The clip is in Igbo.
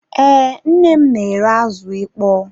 Ee, nnem n'ere azụ ịkpọ